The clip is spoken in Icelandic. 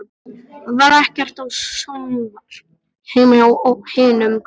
Það var ekkert sjónvarp heima hjá hinum krökkunum.